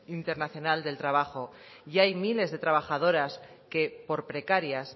internacional del trabajo y hay miles de trabajadoras que por precarias